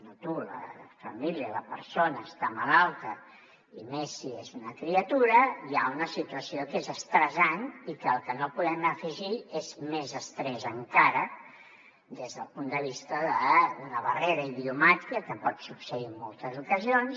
no tu la família o la persona que està malalta i més si és una criatura hi ha una situació que és estressant i el que no podem afegir és més estrès encara des del punt de vista d’una barrera idiomàtica que pot succeir en moltes ocasions